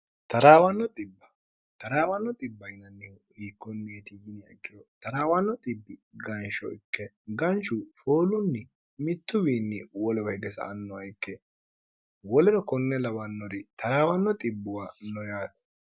traawanno bb yinannihu hiikkonniitiyini akkiro trawanno bbi gansho ikke ganchu foolunni mittuwiinni wolowa hige sa annowa ikke woleno konne lawannori taraawanno xibbuwa noyaati